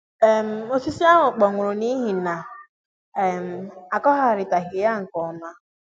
um osisi ahụ kpọnwụrụ n'ihi na n'ihi na um akụgharitaghi ya nke ọma